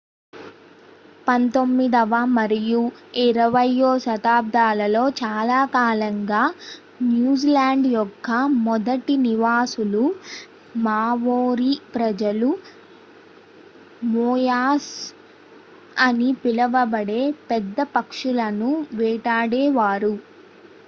పంతొమ్మిదవ మరియు ఇరవయ్యో శతాబ్దాలలో చాలాకాలంగా న్యూజిలాండ్ యొక్క మొదటి నివాసులు మావోరీ ప్రజలు మోయాస్ అని పిలువబడే పెద్ద పక్షులను వేటాడేవారు